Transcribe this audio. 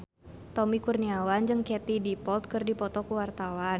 Tommy Kurniawan jeung Katie Dippold keur dipoto ku wartawan